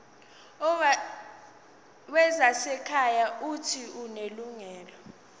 wezasekhaya uuthi unelungelo